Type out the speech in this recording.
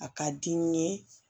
A ka di n ye